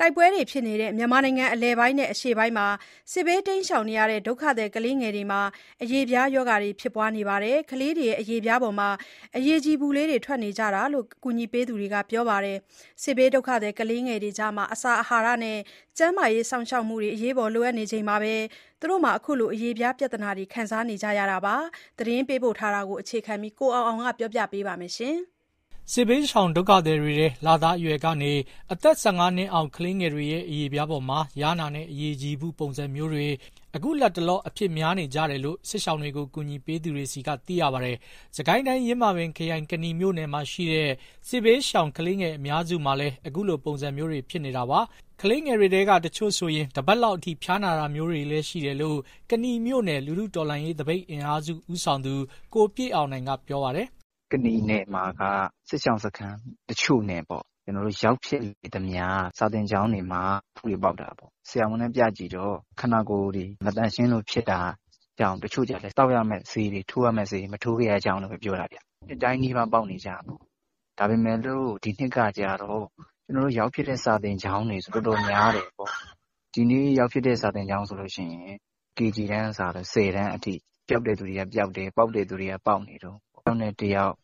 တိုက်ပွဲတွေဖြစ်နေတဲ့ မြန်မာနိုင်ငံ အလယ်ပိုင်းနဲ့ အရှေ့ပိုင်းမှာ စစ်ဘေးရှောင်နေရတဲ့ ဒုက္ခသည် ကလေးငယ်တွေ အရေပြားရောဂါတွေဖြစ်နေကြပါတယ်။ အရေပြားပေါ်မှာ အရည်ကြည်အဖုလေးတွေ ထွင်နေကြတယ်လို့ ကူညီပေးသူတွေက ပြောပါတယ်။ စစ်ဘေးဒုက္ခသည်ကလေးငယ်တွေကြား အစာ အဟာရနဲ့၊ ကျန်းမာရေးစောင့်ရှောက်မှု လိုအပ်ချက်တွေရှိနေချိန်မှာ ခုလို အရေပြားပြဿနာတွေ ခံစားနေကြရတာပါ။ သတင်းပေးပို့ချက်ကို အခြေခံပြီး ကိုအောင်အောင်က ပြောပြမှာပါ။ စစ်ဘေးရှောင် ဒုက္ခသည်တွေထဲ လသားအရွယ်ကနေ အသက် ၁၅ နှစ်အောက် ကလေးငယ်တွေရဲ့ အရေပြားပေါ်မှာ ယားနာနဲ့ အရည်ကြည်ဖု ပုံစံမျိုးတွေ အခုလတ်တလော အဖြစ်များနေကြတယ်လို့ စစ်ရှောင်တွေကို ကူညီပေးသူတွေဆီက သိရပါတယ်။ စစ်ကိုင်းတိုင်း၊ ယင်းမာပင်ခရိုင်၊ ကနီမြို့နယ်မှာရှိတဲ့ စစ်ဘေးရှောင်ကလေးငယ် အများစုမှာလည်း အခုလို ပုံစံမျိုးတွေ ဖြစ်နေတာပါ။ ကလေးငယ်တွေထဲက တချို့ဆို တပတ်လောက်အထိ ဖျားနာတာမျိုးတွေလည်း ရှိတယ်လို့ ကနီမြို့နယ် လူထုတော်လှန်ရေး သပိတ်အင်အားစု ဦးဆောင်သူ ကိုပြည့်အောင်နိုင်က ပြောပါတယ်။ "ကနီနယ်မှာက စစ်ရှောင်စခန်းတချို့နဲ့ ကျနော်တို့ရောက်ခဲ့သမျှ စာသင်ကျောင်းတွေမှာ ကလေးငယ်တွေ အဖုတွေပေါက်တာ တွေ့ရတယ်။ ဆရာဝန်နဲ့ ပြကြည့်တော့ ခန္ဓာကိုယ်မသန့်ရှင်းလို့ ဖြစ်တာကြောင့်၊ တချို့ကလည်း သောက်ရမယ့်ဆေးတွေ၊ ထိုးရမယ့် ကာကွယ်ဆေးတွေ မထိုးခဲ့ရတာကြောင့်လို့လည်း ပြောတာဗျ။ အဖုက နှစ်တိုင်းနီးပါး ပေါက်နေကြပေါ့။ ဒါပေမဲ့ ဒီနှစ် ကျွန်တော်တို့ရောက်ဖြစ်တဲ့ စာသင်ကျောင်းတွေဆို တော်တော်များတယ်ပေါ့။ ဒီနေ့ရောက်ဖြစ်တဲ့ စာသင်ကျောင်းဆိုရင် KG တန်းကစလို့ ၁၀ တန်းအထိ ပျောက်တဲ့သူတွေက ပျောက်တယ်၊ ပေါက်တဲ့သူတွေက ပေါက်နေတုန်း။ တယောက်နဲ့ တယောက်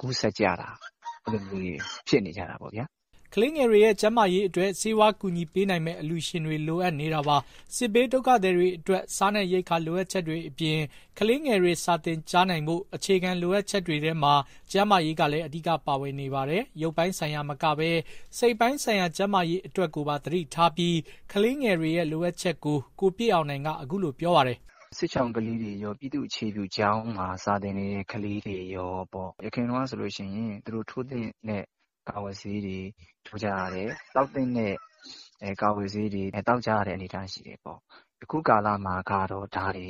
ကူးစက်ကြတာ၊ အဲလိုမျိုး ဖြစ်နေကြတာပေါ့ဗျာ။" ကလေးငယ်တွေရဲ့ ကျန်းမာရေးအတွက် ဆေးဝါးကူညီပေးနိုင်မယ့် အလှူရှင်တွေ လိုအပ်နေတာပါ။ စစ်ဘေးဒုက္ခသည်တွေအတွက် စားနပ်ရိက္ခာ လိုအပ်ချက်တွေအပြင်၊ ကလေးငယ်တွေ စာသင်ကြားနိုင်ဖို့ အခြေခံ လိုအပ်ချက်တွေထဲမှာ ကျန်းမာရေးကလည်း အဓိက ပါဝင်နေပါတယ်။ ရုပ်ပိုင်းဆိုင်ရာမကဘဲ စိတ်ပိုင်းဆိုင်ရာ ကျန်းမာရေးအတွက်ကိုပါ သတိထားပြီး ကလေးငယ်တွေရဲ့ လိုအပ်ချက်တွေကို ကိုပြည့်အောင်နိုင်က အခုလိုပြောပါတယ်။ "စစ်ရှောင်ကလေးတွေရော၊ ပြည်သူ့အခြေပြုကျောင်းမှာ စာသင်နေတဲ့ ကလေးတွေရောပေါ့။ ယခင်တုန်းကဆိုရင် သူတို့ထိုးသင့်တဲ့ ကာကွယ်ဆေးတွေ ထိုးကြရတယ်။ သောက်သင့်တဲ့ ကာကွယ်ဆေးတွေ သောက်ကြရတဲ့ အနေအထားရှိတယ်ပေါ့။ အခုကာလမှာကတော့ ဒါတွေ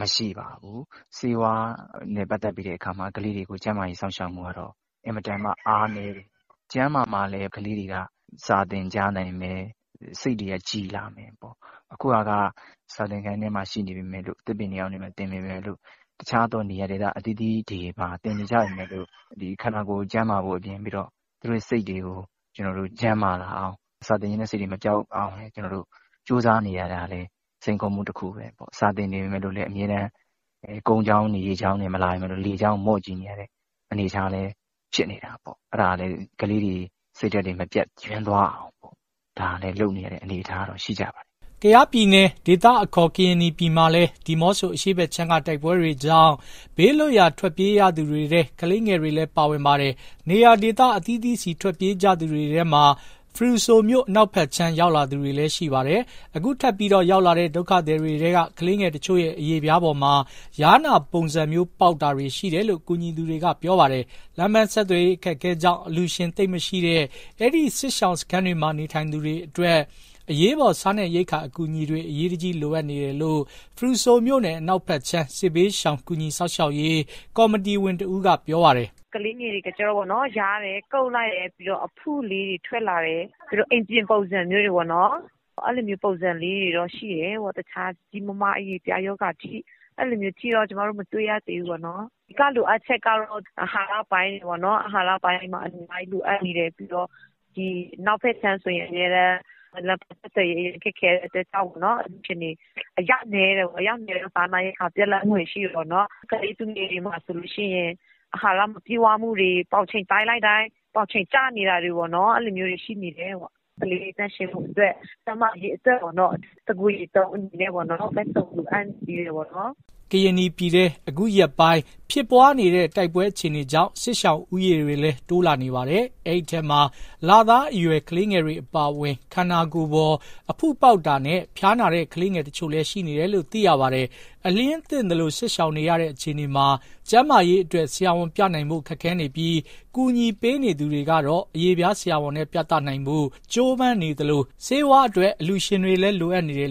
မရှိပါဘူး။ ဆေးဝါးနဲ့ပတ်သက်ရင် ကလေးတွေကို ကျန်းမာရေး စောင့်ရှောက်မှုကတော့ အင်မတန်အားနည်းတယ်။ ကျန်းမာမှလည်း ကလေးတွေက စာသင်ကြားနိုင်မယ်၊ စိတ်တွေက ကြည်လာမယ်ပေါ့။ အခုဟာက စာသင်ခန်းထဲ၊ သစ်ပင်အောက်ထဲ၊ တခြားသော နေရာဒေသ အသီးသီးတွေမှာ သင်နေကြပေမယ့်လို့ ဒီခန္ဓာကိုယ်ကျန်းမာဖို့အပြင် သူတို့ရဲ့စိတ်တွေ ကျန်းမာလာအောင် စာသင်ချင်စိတ်တွေ မပျောက်သွားအောင် ကြိုးစားနေရတာလည်း စိန်ခေါ်မှုတခုပဲပေါ့။ စာသင်နေချိန် ကုန်းကြောင်း၊ ရေကြောင်းကနေ မလာပေမယ့်လို့ လေကြောင်းကို မော့ကြည့်ရတဲ့ အနေအထားလည်း ဖြစ်နေတာပေါ့။ အဲဒါနဲ့ ကလေးတွေစိတ်ဓာတ်မပျက်ယွင်းသွားအောင် လုပ်နေရတဲ့ အနေအထားတော့ ရှိကြပါတယ်။" ကယားပြည်နယ် ဒေသအခေါ် ကရင်နီပြည်မှာလည်း ဒီးမော့ဆိုအရှေ့ဘက်ခြမ်းက တိုက်ပွဲတွေကြောင့် ဘေးလွတ်ရာ ထွက်ပြေးရသူတွေထဲ ကလေးငယ်တွေလည်း ပါဝင်ပါတယ်။ နေရာဒေသ အသီးသီးဆီ ထွက်ပြေးကြသူတွေထဲမှာ ဖရူမြို့အနောက်ဘက်ခြမ်း ရောက်လာသူတွေလည်း ရှိပါတယ်။ အခုထပ်ပြီး ရောက်လာတဲ့ ဒုက္ခသည်တွေထဲက ကလေးငယ်တချို့ရဲ့ အရေပြားပေါ်မှာ ယားနာပုံစံမျိုး ပေါက်တာတွေရှိတယ်လို့ ကူညီသူတွေက ပြောပါတယ်။ လမ်းပန်းဆက်သွယ်ရေး အခက်အခဲကြောင့် အလှူရှင်သိပ်မရှိတဲ့ အဲဒီစစ်ရှောင်စခန်းတွေမှာ နေထိုင်သူတွေအတွက် အရေးပေါ်စားနပ်ရိက္ခာ အကူအညီတွေ အရေးတကြီးလိုအပ်နေတယ်လို့ ဖရူဆိုမြို့နယ်အနောက်ဘက်ခြမ်း စစ်ဘေးရှောင်ကူညီစောင့်ရှောက်ရေး ကော်မတီဝင်တဦးက ပြောပါတယ်။ "ကလေးငယ်တွေက ယားတယ်၊ ကုတ်လိုက်ရင် အဖုလေးတွေ ထွက်လာတယ်၊ အင်ပြင်ပုံစံ မျိုးတွေပေါ့နော်။ တခြားကြီးကြီးမားမား အရေပြားရောဂါအထိတော့ ကျမတို့ မတွေ့ရသေးဘူး။ အဓိက လိုအပ်ချက်ကတော့ အာဟာရပိုင်းတွေမှာ အများကြီးလိုအပ်နေတယ်။ ဒီအနောက်ဖက်ခြမ်းဆိုရင် အမြဲတမ်း လမ်းပန်းဆက်သွယ်ရေး ခက်ခဲတဲ့အတွက်ကြောင့် အလှူရှင်တွေ အရောက်နည်းတယ်ပေါ့။ အရောက်နည်းတော့ စားနပ်ရိက္ခာ ပြတ်လပ်မှုတွေ ရှိတာပေါ့နော်။ ကလေးသူငယ်တွေဆိုရင် ပေါင်ချိန်တိုင်းလိုက်တိုင်း ပေါင်ချိန် ကျနေတာတွေပေါ့။ အာဟာရမပြည့်ဝတာ မျိုးတွေရှိနေတယ်။ ကလေးတွေ သန့်ရှင်းရေးနဲ့ အဓိကကျန်းမာရေးအတွက် တကိုယ်ရေသုံးတွေလည်း လိုအပ်နေသေးတယ်။" ကရင်နီပြည်ထဲ အခုရက်ပိုင်းထဲ ဖြစ်ပွားနေတဲ့ တိုက်ပွဲအခြေအနေကြောင့် စစ်ရှောင်ဦးရေတွေလည်း တိုးလာနေပါတယ်။ အဲဒီထဲမှာ လသားအရွယ် ကလေးငယ်တွေ အပါအဝင် ခန္ဓာကိုယ်ပေါ် အဖုပေါက်တာနဲ့ ဖျားနာတဲ့ ကလေးငယ်တချို့လည်း ရှိနေတယ်လို့ သိရပါတယ်။ အလျဉ်းသင့်သလို စစ်ရှောင်နေရတဲ့ အခြေအနေမှာ ကျန်းမာရေးအတွက် ဆရာဝန်ပြနိုင်ဖို့ ခက်ခဲနေပြီး၊ ကူညီပေးနေသူတွေကတော့ အရေပြားဆရာဝန်နဲ့ ပြသနိုင်ဖို့ ကြိုးပမ်းနေသလို၊ ဆေးဝါးအတွက် အလှူရှင်တွေလည်း လိုအပ်နေပါတယ်